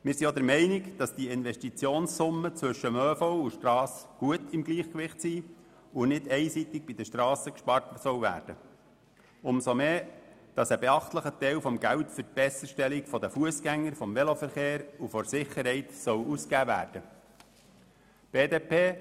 Wir sind auch der Meinung, dass sich die Investitionssummen für den ÖV und den MIV in einem guten Gleichgewicht befinden und nicht einseitig bei den Strassen gespart werden soll, umso mehr als ein beachtlicher Teil des Geldes für die Besserstellung der Fussgänger, des Veloverkehrs und der Sicherheit ausgegeben werden soll.